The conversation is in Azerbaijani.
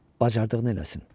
Bacardığını eləsin.